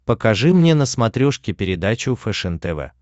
покажи мне на смотрешке передачу фэшен тв